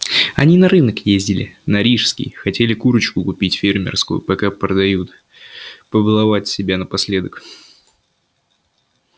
они на рынок ездили на рижский хотели курочку купить фермерскую пока продают побаловать себя напоследок